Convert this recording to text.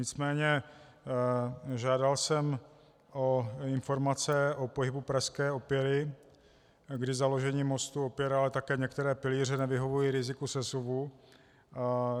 Nicméně žádal jsem o informace o pohybu prasklé opěry, kdy založení mostu, opěr, ale také některé pilíře nevyhovují riziku sesuvu.